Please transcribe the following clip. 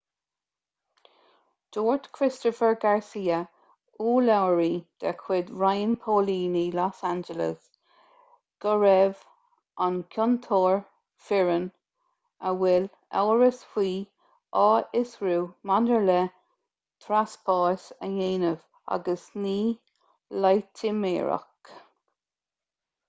dúirt christopher garcia urlabhraí de chuid roinn póilíní los angeles go raibh an ciontóir fireann a bhfuil amhras faoi á fhiosrú maidir le treaspás a dhéanamh agus ní loitiméireacht